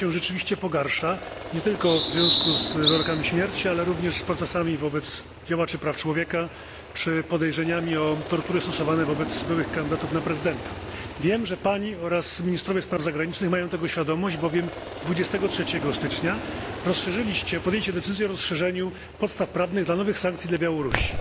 Ona się rzeczywiście pogarsza nie tylko w związku z wyrokami śmierci, ale również z procesami wobec działaczy praw człowieka czy podejrzeniami o tortury stosowane wobec byłych kandydatów na prezydenta. Wiem, że Pani oraz ministrowie spraw zagranicznych mają tego świadomość, bowiem 23 stycznia podjęliście decyzję o rozszerzeniu podstaw prawnych dla nowych sankcji dla Białorusi.